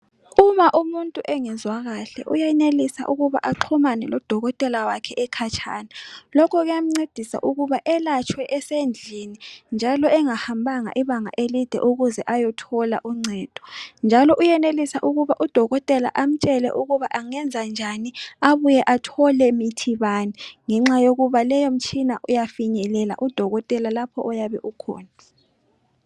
uma umuntu engezwa kahle uyenelisa ukuba axhumane lo dokotela wakhe ekhatshana lokhu kuyamncedisa ukuba elatshwe esendlini njalo engahambanga ibanga elide ukuze ayethola uncedo njalo uyenelisa ukuba udokotela amtshele ukuba angenza njani abuye athole mithi bani ngenxa yokuba leyo mtshina uyafinyelela udokotela lapho oyabe ukhona